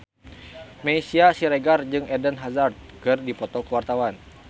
Meisya Siregar jeung Eden Hazard keur dipoto ku wartawan